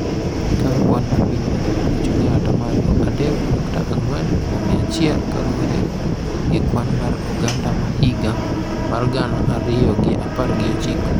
kaka kwan mar piny mangima ochung’ e ata malo adek nyukta ang'wen kuom mia achiel kaluwore gi Kwan mar Oganda ma higa mar gana ariyo gi apar gi ochiko.